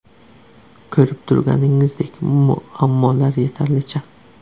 Ko‘rib turganingizdek muammolar yetarlicha.